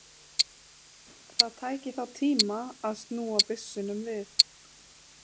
Það tæki þá tíma að snúa byssunum við.